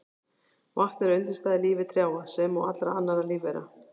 Vatn er undirstaða í lífi trjáa sem og allra annarra lífvera.